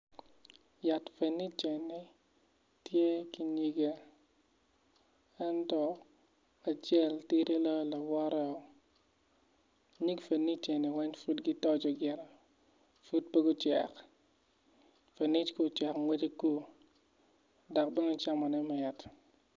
Yat fenic eni tye ki nyigge ento acel tidi loyo lawoteo nyig fenic eni weny pud gitoco gire pud po gucek fenic ku ocek ngwece kur dok bene camone mit